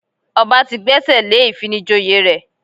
Ọba ti gbẹ́sẹ̀ lé ìfinijoyè rẹ̀